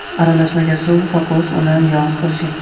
Aralashmaga suv, kokos uni va yog‘ qo‘shing.